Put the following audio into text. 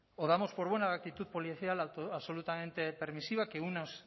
o damos por buena la actitud policial absolutamente permisiva que unas